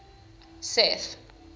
seth